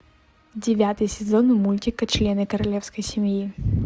девятый сезон мультика члены королевской семьи